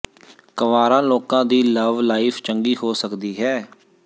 ਕੰਵਾਰਾ ਲੋਕਾਂ ਦੀ love life ਚੰਗੀ ਹੋ ਸਕਦੀ ਹੈ